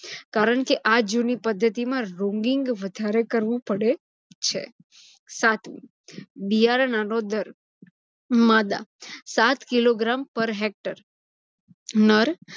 કારણ કે આ જુની પદ્ધિતિમાં rooming વધારે કરવું પડે છે. સાતમું બિયારણ આગોદર - માદા સાત kilogram પર hector, નર